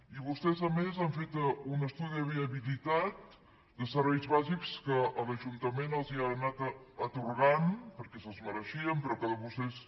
i vostès a més han fet un estudi de viabilitat de serveis bàsics que l’ajuntament els ha anat atorgant perquè se’ls mereixien però que de vostès